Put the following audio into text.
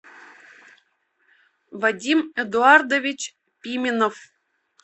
вадим эдуардович пименов